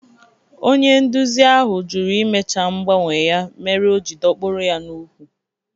Onye nduzi ahụ jụrụ imecha mgbanwe ya mere o ji dọkpụrụ ya n'úkwù